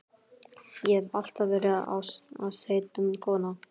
Ég hef alltaf verið ástheit kona.